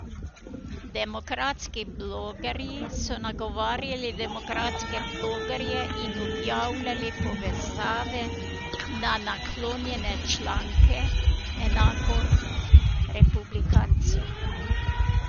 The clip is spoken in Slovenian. Demokratski blogerji so nagovarjali demokratske blogerje in objavljali povezave na naklonjene članke, enako republikanci.